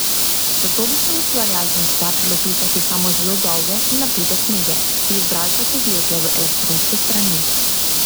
Zato bi se ustvarjalcem splačalo pisati samo zelo dolge in napete knjige, ki bi bralca povlekle v elektronske strani.